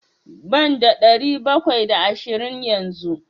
Banda ɗari bakwai da ashirin yanzu.